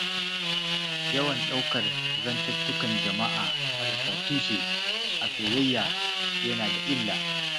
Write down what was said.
Yawan ɗaukar zantuttukan jama'a marasa tushe, a soyayya yana da illa.